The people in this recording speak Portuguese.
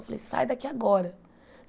Eu falei, sai daqui agora.